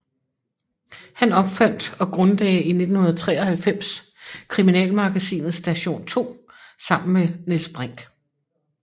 Han opfandt og grundlagde i 1993 kriminalmagasinet Station 2 sammen med Niels Brinch